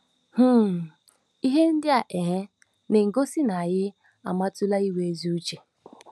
um Ihe ndị a um na-egosi na anyị amụtala inwe ezi uche.